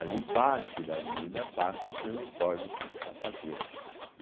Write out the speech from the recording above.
Ali parte da avenida passa pelo Córrego do Sapateiro.